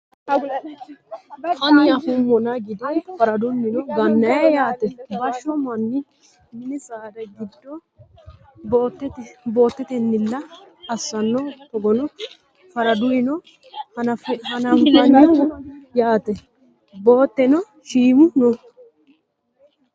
Ani afummana gide faradunnino gannayii yaate? Bashsho mannu mini saada giddo boottatennila assano togona faraduyiino hananfoyi yaate. Beettuno shiimu no.